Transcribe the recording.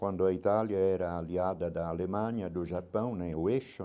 Quando a Itália era aliada da Alemanha, do Japão, né o eixo,